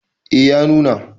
eh ya nuna